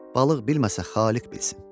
Balıq bilməsə Xaliq bilsin.